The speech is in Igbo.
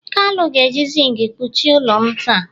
kalu ga-eji zinc kpuchie ụlọ m taa